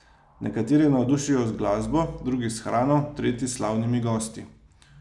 Nekateri navdušijo z glasbo, drugi s hrano, tretji s slavnimi gosti.